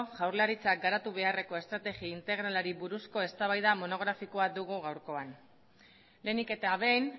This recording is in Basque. jaurlaritzak garatu beharreko estrategi integralari buruzko eztabaida monografikoa dugu gaurkoan lehenik eta behin